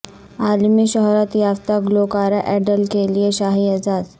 عالمی شہرت یافتہ گلوکارہ ایڈل کے لیے شاہی اعزاز